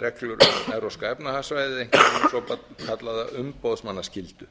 reglur um evrópska efnahagssvæðið einkum hina svokallaða umboðsmannaskyldu